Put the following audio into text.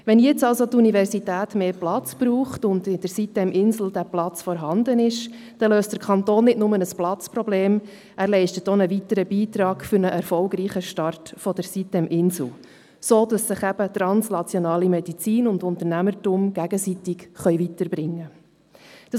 Wenn die Universität jetzt mehr Platz braucht und dieser in der sitem-insel vorhanden ist, dann löst der Kanton nicht nur ein Platzproblem, sondern leistet einen weiteren Beitrag zu einem erfolgreichen Start der sitem-insel, sodass sich eben translationale Medizin und Unternehmertum gegenseitig weiterbringen können.